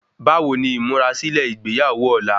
Bá wo ni ìmúrasílè ìgbéyàwó ọ̀la